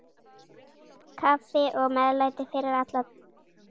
Kaffi og meðlæti fyrir alla.